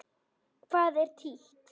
Hvað er títt?